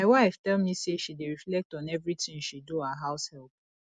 my wife tell me say she dey reflect on everything she do our house help